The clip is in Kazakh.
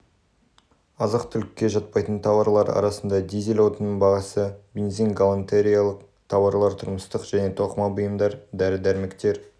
азық-түлікке жатпайтын тауарлар арасында дизель отынының бағасы бензин галантереялық тауарлар тұрмыстық және тоқыма бұйымдар дәрі дәрмектер